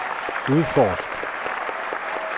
udforsk